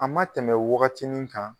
A ma tɛmɛ wagatinin kan